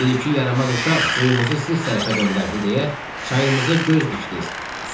Bir-iki yaramaz uşaq suyumuzu siz tərəfə döndərdi deyə çayımızı göz dişdiz.